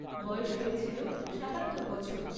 বয়স হয়েছিল সাতাত্তর বছর।